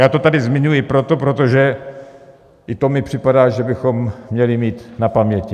Já to tady zmiňuji proto, protože i to mi připadá, že bychom měli mít na paměti.